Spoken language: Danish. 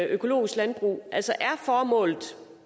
økologisk landbrug altså er formålet